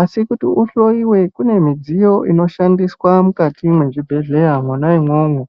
asi kuti uhloiwe kune midziyo inoshandiswa mukati mwezvibhedhleya mwona umwomwo.